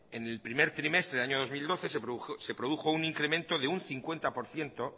en el primer trimestre del año dos mil doce se produjo un incremento de un cincuenta por ciento